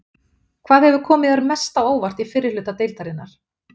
Hvað hefur komið þér mest á óvart í fyrri hluta deildarinnar?